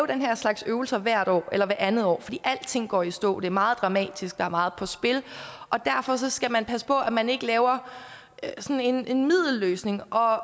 den her slags øvelser hvert år eller hvert andet år fordi alting går i stå det er meget dramatisk der er meget på spil og derfor skal man passe på at man ikke laver sådan en middelløsning og